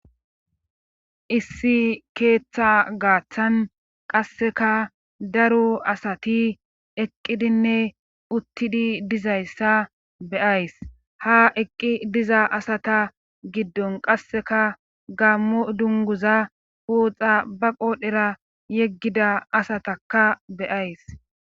Issi keeththa gaaththan qasseka daro asati eqqidinne uttidi dizayssa be7ays ha eqqi diza asata giddon qasseka gammo dunguza puoxa ba qoodhera yeggida asatakka be7ays.